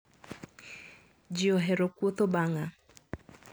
Ji ohero kuotho bang`a.